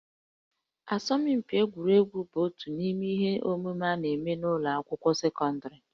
Asọmpi egwuregwu bụ otu n'ime ihe omume a na-eme n'ụlọ akwụkwọ sekọndịrị